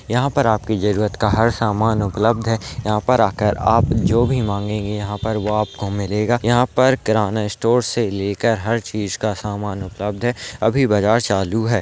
यहाँ पर आपकी जरूरत का हर सामान उपलब्ध है यहाँ पर आकर आप जो भी मांगेंगे यहाँ पर वो आपको मिलेगा यहाँ पर किरणा स्टोर से लेकर हर चीज का सामान उपलब्ध है अभी बजार चालू है।